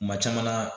Kuma caman na